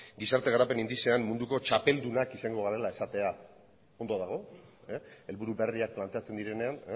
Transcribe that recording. gizarte garapen indizean munduko txapeldunak izango garela esatea ondo dago helburu berriak planteatzen direnean